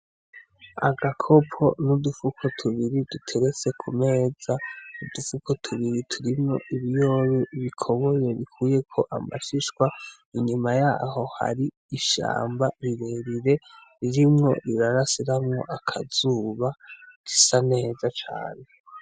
Agakopo n'udufuko tubiri duteretse kumeza. Udufuko tubiri turimwo ibiyoba bikoboye bikuyeko amashishwa. Inyuma yaho hari ishamba rirerire ririmwo rirarasiramwo akazuba. Risa neza cane.